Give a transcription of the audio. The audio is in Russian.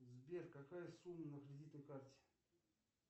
сбер какая сумма на кредитной карте